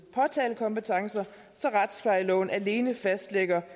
påtalekompetencer så retsplejeloven alene fastlægger